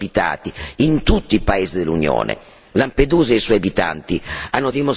dei profughi, che poi dovranno essere ospitati in tutti i paesi dell'Unione.